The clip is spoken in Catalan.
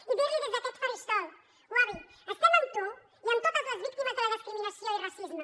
i dir li des d’aquest faristol wubi estem amb tu i amb totes les víctimes de la discriminació i racisme